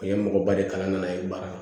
A ye mɔgɔba de kalan ne ye baara kɛ